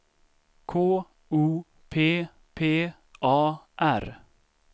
K O P P A R